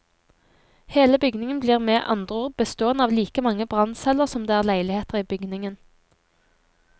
Hele bygningen blir med andre ord bestående av like mange brannceller som det er leiligheter i bygningen.